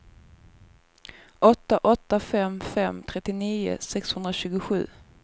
åtta åtta fem fem trettionio sexhundratjugosju